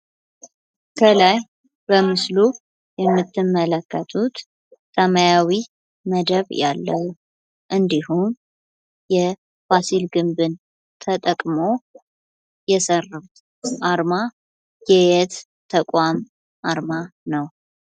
ከላይ በምስሉ የምትመለከቱት ሰማያዊ መደብ ያለው እንድሁም የፋሲል ግንብን ተጠቅመው የሰሩት አርማ የየት ተቋም አርማ ነው?